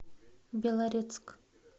белорецк